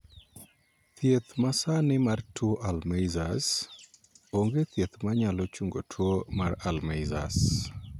Thieth ma sani mar tuo 'Alzheimers'. Onge thieth ma nyalo chungo tuo mar 'Alzheimers'.